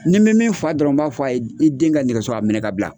Ni bɛ min fa dɔrɔn n b'a fɔ a ye i den ka nɛgɛso a minɛ ka bila.